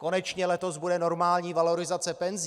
Konečně letos bude normální valorizace penzí.